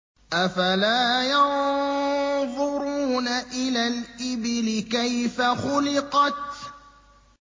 أَفَلَا يَنظُرُونَ إِلَى الْإِبِلِ كَيْفَ خُلِقَتْ